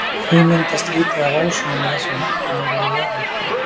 því myndast lítið af ósoni með þessum hætti niðri við jörðu